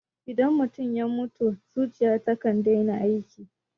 Idan mutum ya mutu, zuciya takan daina aiki